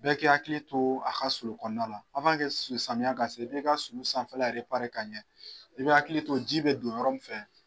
Bɛɛ k'i hakili to a ka sulu kɔnɔna la samiyan ka se i b'e ka sulu sanfɛla k'a ɲɛ i bɛ hakili to ji bɛ don yɔrɔ min fɛ.